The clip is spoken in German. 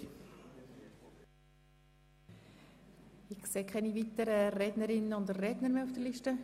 Ich sehe keine weiteren Rednerinnen und Redner auf der Liste.